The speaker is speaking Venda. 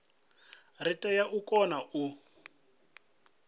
ri tea u kona u